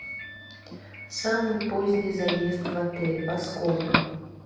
самый поздний заезд в отель во сколько